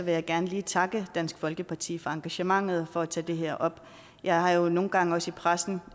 jeg gerne lige takke dansk folkeparti for engagementet og for at tage det her op jeg har jo nogle gange også i pressen